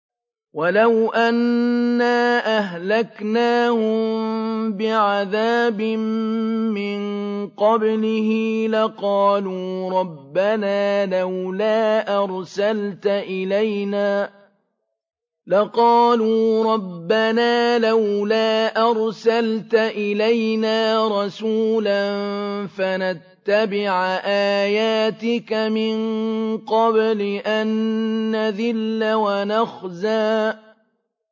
وَلَوْ أَنَّا أَهْلَكْنَاهُم بِعَذَابٍ مِّن قَبْلِهِ لَقَالُوا رَبَّنَا لَوْلَا أَرْسَلْتَ إِلَيْنَا رَسُولًا فَنَتَّبِعَ آيَاتِكَ مِن قَبْلِ أَن نَّذِلَّ وَنَخْزَىٰ